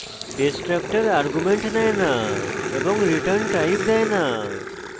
destructor arguments নেয় no এবং return types দেয় no